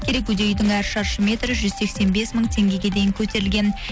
керекуде үйдің әр шаршы метрі жүз сексен бес мың теңгеге дейін көтерілген